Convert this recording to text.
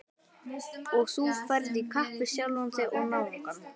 Og þú ferð í kapp við sjálfan þig og náungann.